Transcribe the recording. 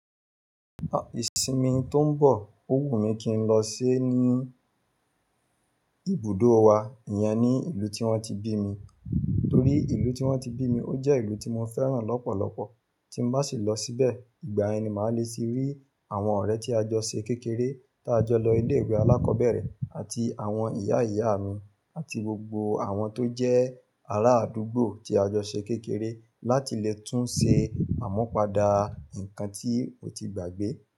Ìsinmi tó ń bọ̀, ò wù mí kí n lọ se ni ibùdó wa, ìyẹn ni ìlú tí wọ́n ti bí mi. Nítorí ìlú tí wọ́n ti bí mi, ó jẹ́ ìlú tí mo fẹ́ràn lọ́pọ̀lọpọ̀. Tí ń bá sì lọ síbẹ̀, ìgbà yen ni màá le sì rí àwọn ọ̀rẹ́ tí a jọ ṣe kékeré tá a jọ lọ ilé ìwé alákọ̀ọ́bẹ̀rẹ̀ àti àwọn ìyá ìyá mi àti gbogbo àwọn tó jẹ́ ará àdúgbò tí a jọ ṣe kékeré láti lè tún ṣe àmupada ǹkan tí o ti gbàgbé.